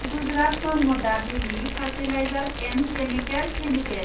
Gujarat Narmada valley fertilizers and chemicals limited